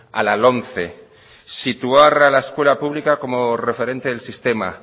a la lomce situar a la escuela como referente el sistema